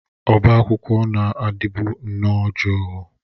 Ọbá akwụkwọ na-adịbu nnọọ jụụ.